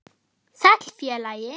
Sæll, félagi